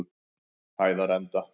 Hæðarenda